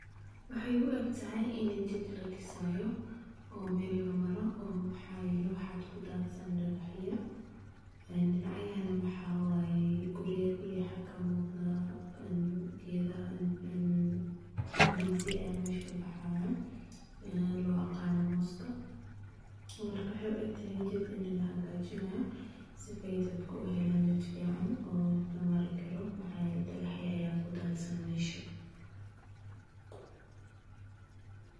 Waxay ugatahay ina jid ladisayo, oo mal lamarayo waxa yale wax ku dadsan dagahaya, aa dinacyahana maxa waya guriya xaga ka muqda gadaha indisaha aya masha ka muqdan wax ka sobahayo oo loya aqano muska marka waxay u agtahay ini jid la xagajinayo, si ay dadka uhalan jid fican oo la marikaro maxa yale dagah aya ku dadsan masha.